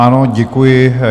Ano, děkuji.